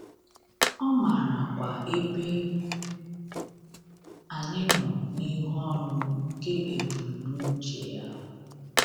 Ọ maarakwa ebe anyị nọ n’ịrụ ọrụ nke ebumnuche ya.